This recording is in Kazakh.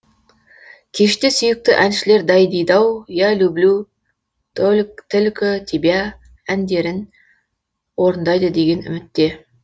кеште сүйікті әншілер дайдидау я люблю тільки тебе әндерін орындайды деген үмітте